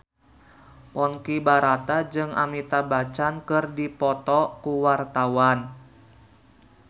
Ponky Brata jeung Amitabh Bachchan keur dipoto ku wartawan